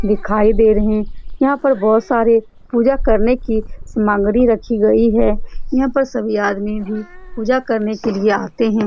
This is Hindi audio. दिखाई दे रहे हैं यहाँ पर बहुत सारे पूजा करने की सामग्री रखी गई है यहाँ पर सभी आदमी भी पूजा करने के लिए आते हैं ।